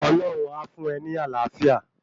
Ọlọ́hun a fún e ní Àlàáfíà